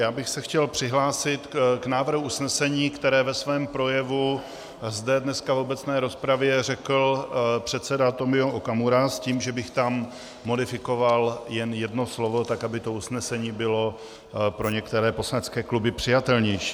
Já bych se chtěl přihlásit k návrhu usnesení, které ve svém projevu zde dneska v obecné rozpravě řekl předseda Tomio Okamura s tím, že bych tam modifikoval jen jedno slovo tak, aby to usnesení bylo pro některé poslanecké kluby přijatelnější.